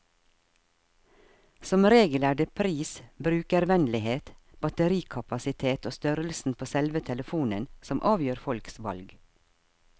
Som regel er det pris, brukervennlighet, batterikapasitet og størrelsen på selve telefonen som avgjør folks valg.